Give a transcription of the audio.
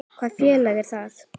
Hvaða félag er það?